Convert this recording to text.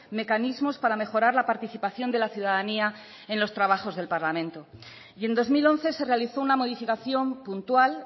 mecanismos para mejorar la participación de la ciudadanía en los trabajos del parlamento y en dos mil once se realizó una modificación puntual